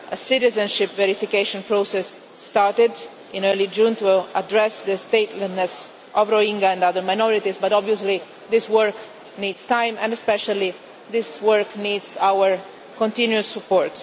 A citizenship verification process started in early June to address the statelessness of Rohingya and other minorities, but obviously this work needs time, and especially this work needs our continuous support.